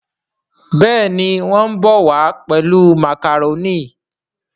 Béèni wón bó wá pèlú macaroni.